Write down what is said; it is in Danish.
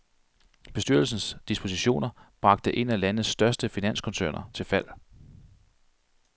Bestyrelsens dispositioner bragte en af landets største finanskoncerner til fald.